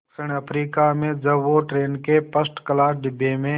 दक्षिण अफ्रीका में जब वो ट्रेन के फर्स्ट क्लास डिब्बे में